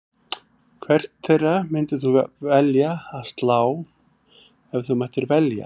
Hvert þeirra myndir þú velja að slá ef þú mættir velja?